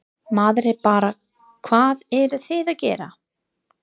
Maður er bara, hvað eruð þið að gera?